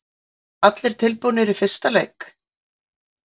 Verða allir tilbúnir í fyrsta leik?